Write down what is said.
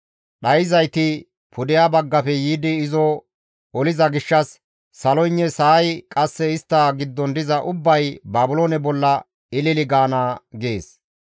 Dhayssizayti pudeha baggafe yiidi izo oliza gishshas saloynne sa7ay qasse istta giddon diza ubbay Baabiloone bolla ilili gaana» gees.